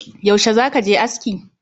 Yaushe zaka je aski?